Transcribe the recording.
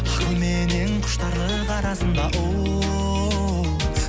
ақылменен құштарлық арасында оу